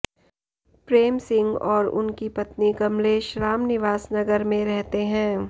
प्रेम सिंह और उनकी पत्नी कमलेश रामनिवास नगर में रहते हैं